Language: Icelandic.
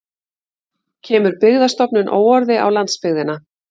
Kemur Byggðastofnun óorði á landsbyggðina